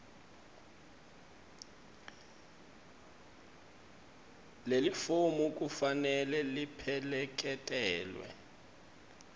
lelifomu kufanele lipheleketelwe